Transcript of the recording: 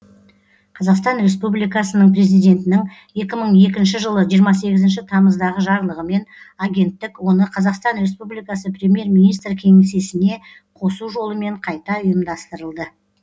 қазақстан республикасының президентінің екі мың екінші жылы жиырма сегізінші тамыздағы жарлығымен агенттік оны қазақстан республикасы премьер министр кеңсесіне қосу жолымен қайта ұйымдастырылды